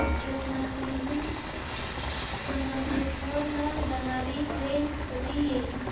रत्नागिरी हून संगमेश्वर ला जाणारी ट्रेन कधी येईल